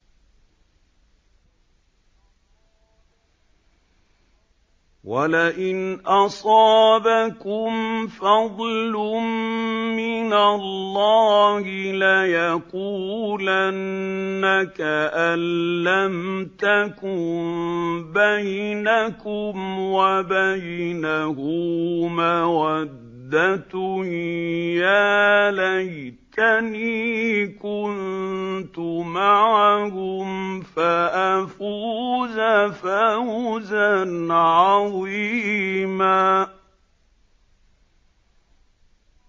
وَلَئِنْ أَصَابَكُمْ فَضْلٌ مِّنَ اللَّهِ لَيَقُولَنَّ كَأَن لَّمْ تَكُن بَيْنَكُمْ وَبَيْنَهُ مَوَدَّةٌ يَا لَيْتَنِي كُنتُ مَعَهُمْ فَأَفُوزَ فَوْزًا عَظِيمًا